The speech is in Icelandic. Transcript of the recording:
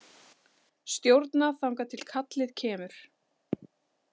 Stjórna þangað til kallið kemur.